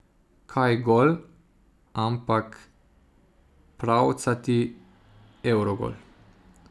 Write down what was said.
Kaj gol, ampak pravcati evrogol.